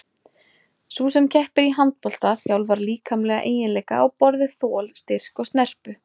Sú sem keppir í handbolta þjálfar líkamlega eiginleika á borð við þol, styrk og snerpu.